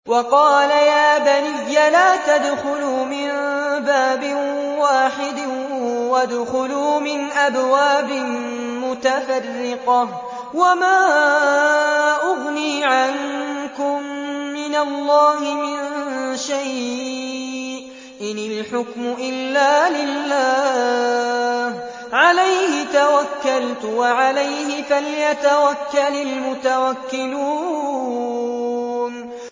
وَقَالَ يَا بَنِيَّ لَا تَدْخُلُوا مِن بَابٍ وَاحِدٍ وَادْخُلُوا مِنْ أَبْوَابٍ مُّتَفَرِّقَةٍ ۖ وَمَا أُغْنِي عَنكُم مِّنَ اللَّهِ مِن شَيْءٍ ۖ إِنِ الْحُكْمُ إِلَّا لِلَّهِ ۖ عَلَيْهِ تَوَكَّلْتُ ۖ وَعَلَيْهِ فَلْيَتَوَكَّلِ الْمُتَوَكِّلُونَ